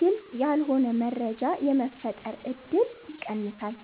ግልጽ ያልሆነ መረጃ የመፈጠር እድል ይቀንሳል።